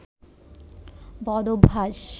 বদ অভ্যাস